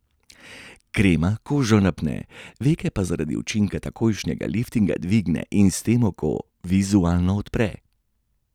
Krema kožo napne, veke pa zaradi učinka takojšnjega liftinga dvigne in s tem oko vizualno odpre.